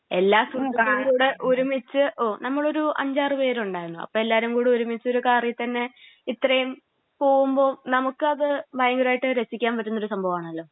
എല്ലാ സുഹൃത്തുക്കളും കൂടെ ഒരുമിച്ച് നമ്മളൊരു അഞ്ചാറ് പേരുണ്ടായിരുന്നു. അപ്പോ എല്ലാവരും കൂടി ഒരുമിച്ച് ഒരു കാറിൽ തന്നെ ഇത്രയും പോവുമ്പോ നമുക്കത് ഭയങ്കരായിട്ട് രസിക്കാൻ പറ്റുന്നൊരു സംഭവാണ് അത്.